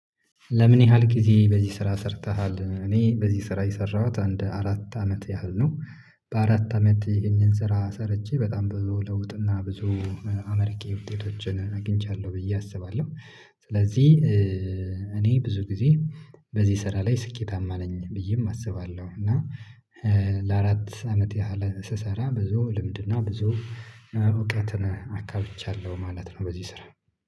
ለምን ያህል ጊዜ በዚህ ስራ ሰርተሃል? እኔ በዚህ ስራ የሰራሁት አንድ አራት አመት ያህል ነው በአራት አመት ይህንን ስራ ሰርቼ በጣም ብዙ ለውጥና ብዙ አመርቂ ውጤቶችን አግኝቻለሁ ብዬ አስባለሁ ስለዚህ እኔ ብዙ ጊዜ በዚህ ስራ ላይ ስኬታማ ነኝ ብዬም አስባለሁ እና ለአራት አመት ያህል ስሰራ ብዙ ልምድና ብዙ እውቀትን አካብቻለሁ ማለት ነው በዚህ ስራ